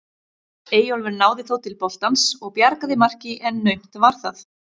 Eyjólfur náði þó til boltans og bjargaði marki en naumt var það.